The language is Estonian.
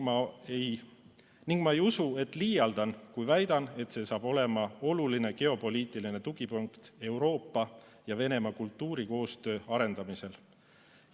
Ma ei usu, et liialdan, kui väidan, et see saab olema oluline geopoliitiline tugipunkt Euroopa ja Venemaa kultuurikoostöö arendamisel.